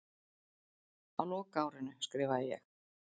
Á lokaárinu skrifaði ég